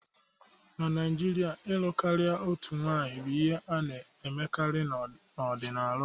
Na Naijiria, ịlụ karịa otu nwanyị bụ ihe a na-emekarị n'ọdịnala ụfọdụ.